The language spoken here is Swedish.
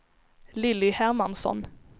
Lilly Hermansson